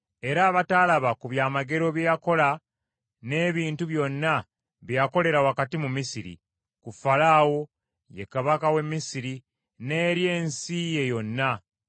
era abataalaba ku byamagero bye yakola n’ebintu byonna bye yakolera wakati mu Misiri, ku Falaawo, ye kabaka w’e Misiri n’eri ensi ye yonna;